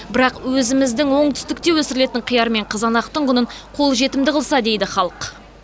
бірақ өзіміздің оңтүстікте өсірілетін қияр мен қызанақтың құнын қолжетімді қылса дейді халық